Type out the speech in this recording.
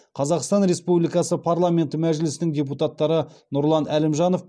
қазақстан республикасы парламенті мәжілісінің депутаттары нұрлан әлімжанов